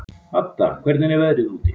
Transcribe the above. Hadda, hvernig er veðrið úti?